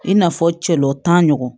I n'a fɔ cɛɔntan ɲɔgɔn